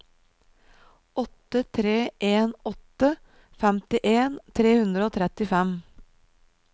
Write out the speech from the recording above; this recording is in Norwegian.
åtte tre en åtte femtien tre hundre og trettifem